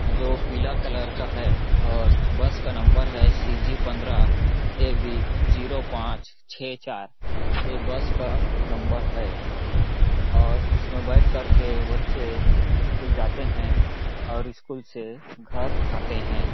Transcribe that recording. जो पीला कलर का है और बस का नंबर है सी_जी पंद्रह ए_बी ज़ीरो पांच छः चार ये बस का नंबर है और इसमें बैठ कर के बच्चे स्कूल जाते है और स्कूल से घर आते हैं।